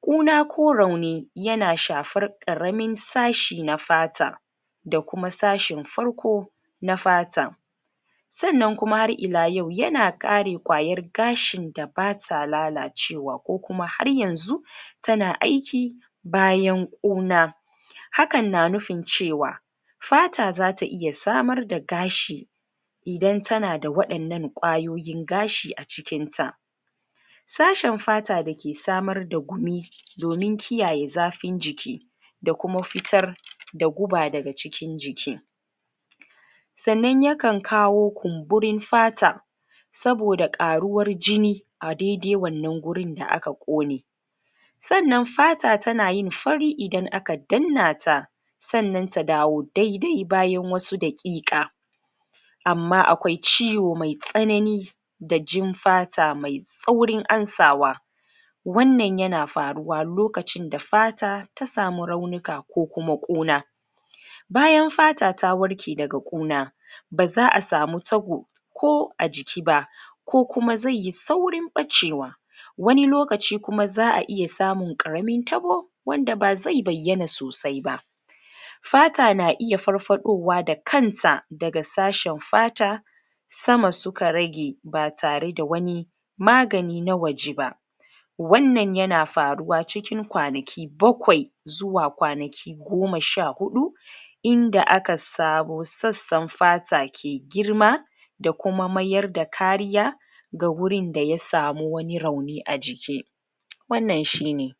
kuna ko rauni yana shafar ƙaramin sashi na fata da kuma sashin farko na fata sanan kuma har ila yau yana kare ƙwayar gashin da bata lalacewa ko kuma har yanzu tana aiki ƙuna hakan na nufin cewa fata zata iya samar da gashi idan tana da waɗannan ƙwayoyin gashi acikin ta tashi fata dake samar da gumi domin kiyaye zafin jiki da kuma fitar da guba daga cikin jiki sanan yakan kawo kumburin fata saboda ƙaruwar jini adede wanan gurin da aka ƙone sanan fata tanayin fari idan aka danna ta sanan ta dawo daidai bayan wasu daƙiƙa amma akwai ciwo mai tsanani da jim fata mai saurin amsawa wanana yana faruwa lokacin da fata ta samu raunuka ko kuma ƙuna bayan fata ta warke daga ƙuna baza'a samu tabao ko ajiki ba ko kuma zaiyi saurin ɓacewa wani lokaci kuma za'a iya samun ɓaramin tabo zai bayyana sosai ba fata na iya farfaɗowa da kansa daga sashen fata sama suka rage batareda wani magani na waje ba wannan yana faruwa cikin kwanaki bakwai zuwa kwanaki goma sha hudu inda aka sabo sassan fata ke girma da kuma mayar da kariya ga gurin da yasamu wani rauni ajiki wanan shine